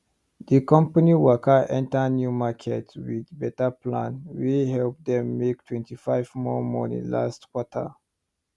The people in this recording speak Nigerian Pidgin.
di company waka enter new market with better plan wey help dem make 25 more money last quarter